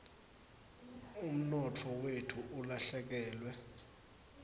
umnotfo wetfu ulahlekelwe